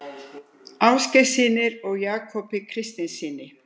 Ásgeirssyni og Jakobi Kristinssyni.